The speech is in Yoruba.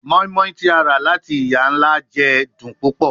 Moinmoin ti a ra lati iya-nla jẹ dun pupọ